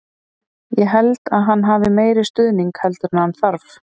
Ég held að hann hafi meiri stuðning heldur en hann þarf.